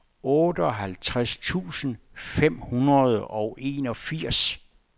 otteoghalvtreds tusind fem hundrede og enogfirs